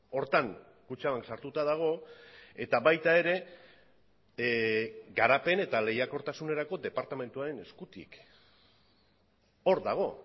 horretan kutxabank sartuta dago eta baita ere garapen eta lehiakortasunerako departamentuaren eskutik hor dago